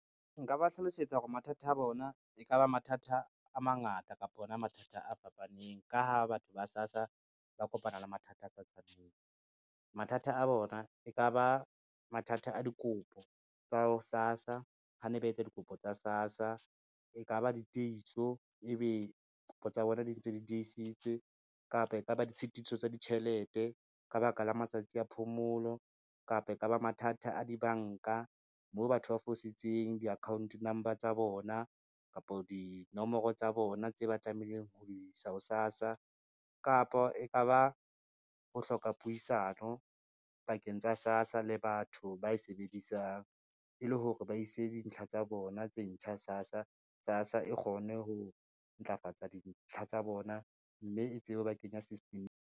Nka ba hlalosetsa hore mathata a bona, e ka ba mathata a mangata kapa ona mathata a fapaneng, ka ha batho ba SASSA ba kopana le mathata a sa tshwaneng. Mathata a bona e ka ba mathata a dikopo tsa SASSA ha ne ba etsa dikopo tsa SASSA, e ka ba ditieso ebe kopo tsa bona di ntse di diesitswe, kapa ekaba ditshitiso tsa ditjhelete ka baka la matsatsi a phomolo, kapa e ka ba mathata a dibanka, moo batho ba fositseng di-account number tsa bona, kapa dinomoro tsa bona tse ba tlamehileng ho di sa ho SASSA kapa e ka ba ho hloka puisano pakeng tsa SASSA le batho ba e sebedisang e le hore ba ise dintlha tsa bona tse ntjha SASSA, SASSA e kgone ho ntlafatsa dintlha tsa bona, mme e tsebe ho ba kenya system-eng.